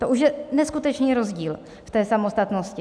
To už je neskutečný rozdíl v té samostatnosti.